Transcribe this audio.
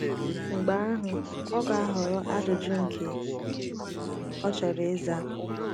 Mgbe ahụ ọ ga - ahọrọ ajụjụ nke ọ chọrọ ịza.